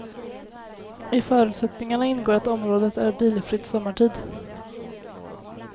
I förutsättningarna ingår att området är bilfritt sommartid.